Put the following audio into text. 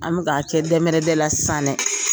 An bi k'a kɛ dɛmɛrɛdɛ la sisan dɛ.